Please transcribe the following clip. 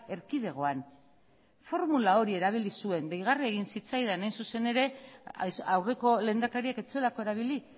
erkidegoan formula hori erabili zuen deigarria egin zitzaidan hain zuzen ere aurreko lehendakariak ez zuelako erabili